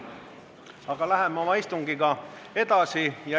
Läheme oma istungiga edasi.